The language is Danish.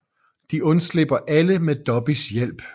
De undslipper alle med Dobbys hjælp